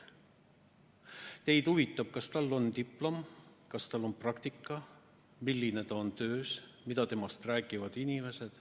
Teid huvitab, kas tal on diplom, kas tal on praktikat, milline ta on oma töös, mida temast räägivad teised inimesed.